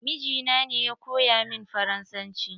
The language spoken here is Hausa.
Mijina ne ya koya min faransanci.